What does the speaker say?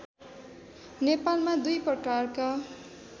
नेपालमा दुई प्रकारका